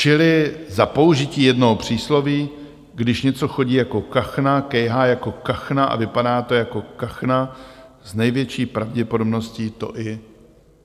Čili za použití jednoho přísloví - když něco chodí jako kachna, kejhá jako kachna a vypadá to jako kachna, s největší pravděpodobností to i